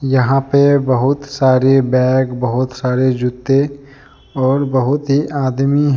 यहां पे बहुत सारी बैग बहुत सारे जूते और बहुत ही आदमी हैं।